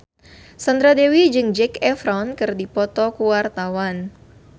Sandra Dewi jeung Zac Efron keur dipoto ku wartawan